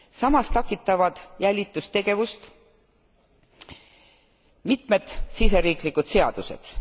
Samas takistavad jälitustegevust mitmed siseriiklikud seadused.